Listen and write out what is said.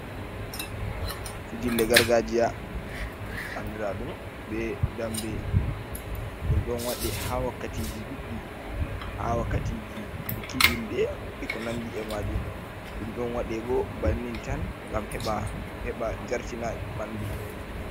Fijirle gargaajiya anndiraaɗum be dammbe, ɗum ɗon waɗe haa wakkatiiji ɗuuɗɗi, haa wakkatiiji buki julde, e ko nanndi e maajum, ɗum ɗon waɗe bo bannin tan, ngam heɓa jartina ɓanndu.